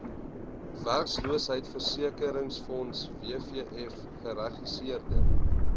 werkloosheidversekeringsfonds wvf geregistreer